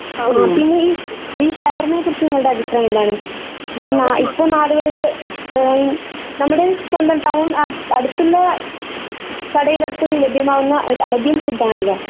ഓ പിന്നെ ഈ ഷവർമ്മയെക്കുറിച്ച് നിങ്ങളുടെ അഭിപ്രായം എന്താണ്? ഇപ്പൊ നാടുകളിൽ എഹ് നമ്മുടെ സ്വന്തം ടൗൺ അടുത്തുള്ള കടയിലടക്കം ലഭ്യമാകുന്ന ഒരു അറേബ്യൻ ഫുഡ് ആണല്ലോ.